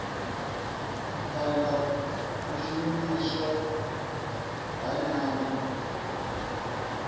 phanda u shumiswa ha nyambo